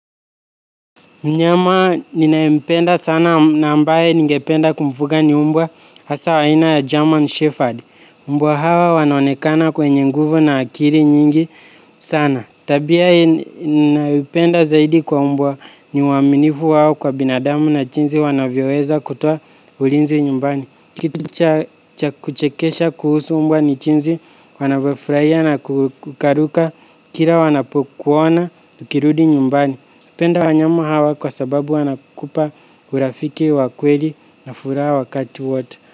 Mnyama ninayempenda sana na ambaye ningependa kumfuga ni umbwa hasa wa aina ya German Shepherd. Umbwa hawa wanaonekana wenye nguvu na akili nyingi sana. Tabia ninayopenda zaidi kwa umbwa ni uaminifu wao kwa binadamu na jinsi wanavyoweza kutoa ulinzi nyumbani kitu cha kuchekesha kuhusu mbwa ni jinsi anavyofurahia na kurukaruka kila wanapokuona ukirudi nyumbani. Napenda wanyama hawa kwa sababu wanakupa urafiki wa kweli na furaha wakati wote.